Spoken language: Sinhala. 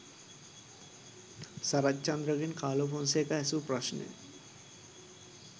සරච්චන්ද්‍ර ගෙන් කාලෝ ෆොන්සේකා ඇසූ ප්‍රශ්නය.